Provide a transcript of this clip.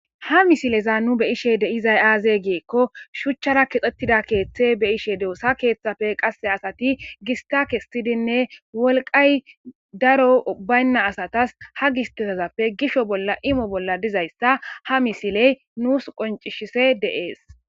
Ha misileza nu be ishe de izay aaze geekko shuchchara kexxettida keeththe be ishe deosa keeththafe qasse asati gista kestidinne wolqay daro baynna asatas ha gisteezappe gisho bolla imo bolla dizayssa ha misiley nuus qoncishise de'ees.